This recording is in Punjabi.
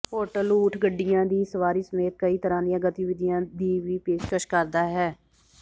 ਹੋਟਲ ਊਠ ਗੱਡੀਆਂ ਦੀ ਸਵਾਰੀ ਸਮੇਤ ਕਈ ਤਰ੍ਹਾਂ ਦੀਆਂ ਗਤੀਵਿਧੀਆਂ ਦੀ ਵੀ ਪੇਸ਼ਕਸ਼ ਕਰਦਾ ਹੈ